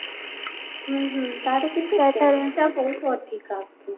ତାର କିନ୍ତୁ ପଇସା ବହୁତ ଅଧିକା